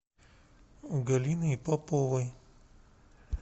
галиной поповой